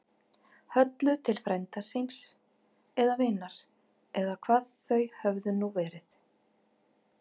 Höllu til frænda síns. eða vinar. eða hvað þau höfðu nú verið.